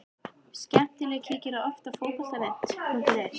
Skemmtileg Kíkir þú oft á Fótbolti.net?